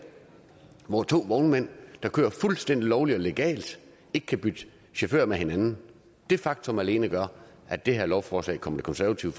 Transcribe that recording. og to vognmænd der kører fuldstændig lovligt og legalt ikke kan bytte chauffører med hinanden det faktum alene gør at det her lovforslag kommer det konservative